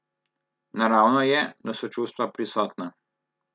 Naravno je, da so čustva prisotna.